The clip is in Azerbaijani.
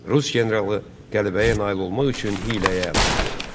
Rus generalı qələbəyə nail olmaq üçün hiyləyə əl atdı.